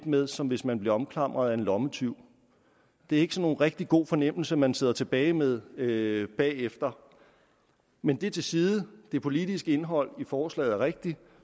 med som hvis man bliver omklamret af en lommetyv det er ikke nogen rigtig god fornemmelse man sidder tilbage med med bagefter men det til side det politiske indhold i forslaget er rigtigt og